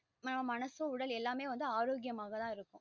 நம்ம மனசு உடல் எல்லாமே வந்து ஆரோக்கியமா தா இருக்கும்